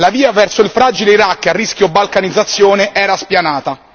La via verso il fragile Iraq a rischio balcanizzazione era spianata.